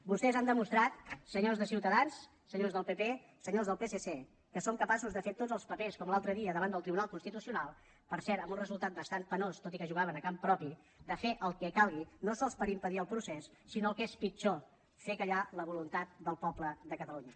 vostès han demostrat senyors de ciutadans senyors del pp senyors del psc que són capaços de fer tots els papers com l’altre dia davant del tribunal constitucional per cert amb un resultat bastant penós tot i que jugaven a camp propi de fer el que calgui no sols per impedir el procés sinó el que és pitjor fer callar la voluntat del poble de catalunya